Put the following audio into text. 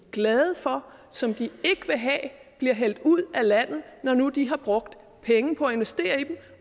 glade for som de ikke vil have bliver hældt ud af landet når nu de har brugt penge på at investere i dem